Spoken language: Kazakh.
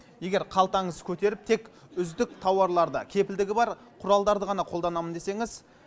егер қалтаңыз көтеріп тек үздік тауарларды кепілдігі бар құралдарды ғана қолданамын десеңіз